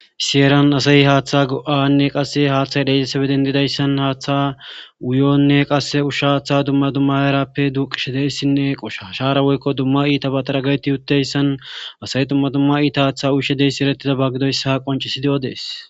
Issi heran asay haaththa go7anne qasse haaththay dheexesebeden didayssan haaththa wuyonne qasse ushsha aththa dumma dumma erappe duqishe deyssinne qosha shaara woykko dumma iita bataragayti utdayssan asay dumma dumma iita haaththa ushe deysi erettida baggidoyssa qoncisi de7o dees.